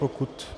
Pokud...